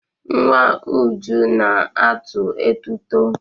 Nwa Uju na-atụ etuto.